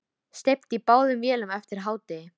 Steypt í báðum vélum eftir hádegi.